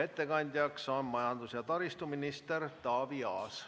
Ettekandja on majandus- ja taristuminister Taavi Aas.